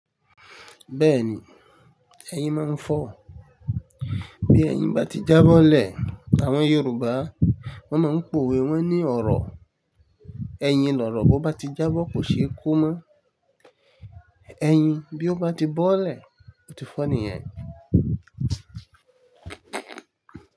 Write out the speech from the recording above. Bẹ́ẹ̀ni, ẹyin máa ń fọ́. Bí ẹyin bá ti jáboọ́lẹ̀, àwọn Yorùbá wọ́n máa ń pòwe wọ́n ní ọ̀rọ̀. Ẹyin lọ̀rọ̀ bó bá ti jábọ́ kò ṣe é ko mọ́. Ẹyin bí ó bá ti bọ́lẹ̀, ó ti fọ́ nìyẹn.